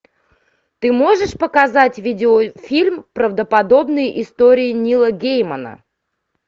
ты можешь показать видеофильм правдоподобные истории нила геймана